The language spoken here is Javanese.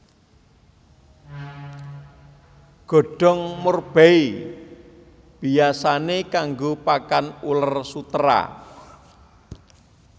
Godhong murbei biyasané kanggo pakan uler sutera